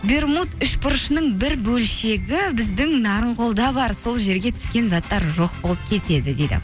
бермуд үшбұрышының бір бөлшегі біздің нарынқолда бар сол жерге түскен заттар жоқ болып кетеді дейді